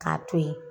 K'a to ye